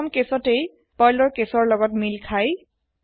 প্ৰথম কেছত ই Perlৰ কেছৰ লগত মিল খাই